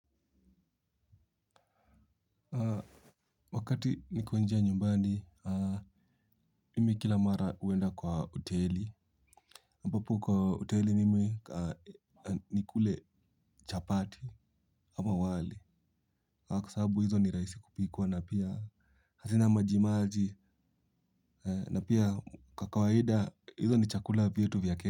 Wakati niko njaa nyumbani, mimi kila mara huenda kwa hoteli. Ambapo kwa hoteli mimi nikule chapati ama wali. Kwa sababu hizo ni rahisi kupikwa na pia hazina majimaji na pia kwa kawaida hizo ni chakula vyetu vya kenya.